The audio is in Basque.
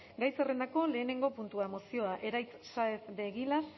gai zerrendako lehenengo puntua mozioa eraitz saez de egilaz